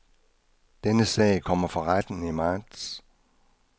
Denne sag kommer for retten i marts.